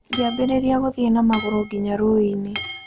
Ngĩambĩrĩria gũthiĩ na magũrũ nginya rũũĩ-inĩ.